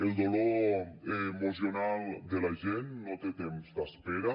el dolor emocional de la gent no té temps d’espera